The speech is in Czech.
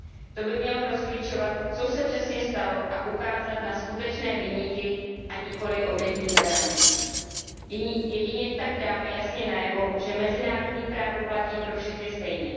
To by mělo rozklíčovat, co se přesně stalo a ukázat na skutečné viníky, a nikoliv na obětní beránky. Jedině tak dáme jasně najevo, že mezinárodní právo platí pro všechny stejně.